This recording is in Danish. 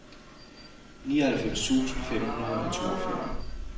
nioghalvfems tusind fem hundrede og toogfyrre